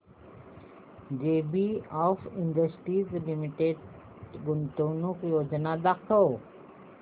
JBF industries limited गुंतवणूक योजना दाखव